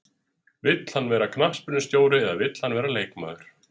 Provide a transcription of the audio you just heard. Vill hann vera knattspyrnustjóri eða vill hann vera leikmaður?